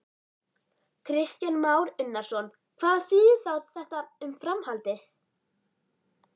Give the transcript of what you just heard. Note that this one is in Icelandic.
Kristján Már Unnarsson: Hvað þýðir þá þetta um framhaldið?